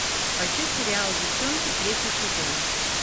хочу сериал девчонки третий сезон